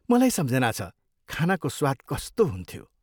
मलाई सम्झना छ, खानाको स्वाद कस्तो हुन्थ्यो।